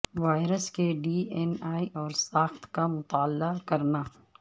virus کے D N A اور ساخت کا مطالعہ کرنا